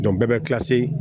bɛɛ bɛ